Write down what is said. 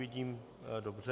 Vidím - dobře.